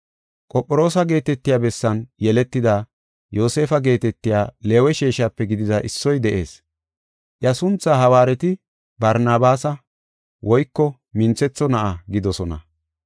Qophiroosa geetetiya bessan yeletida Yoosefa geetetiya Leewe sheeshape gidida issoy de7ees. Iya sunthaa hawaareti Barnabaasa (Minthetho na7a) gidoosona.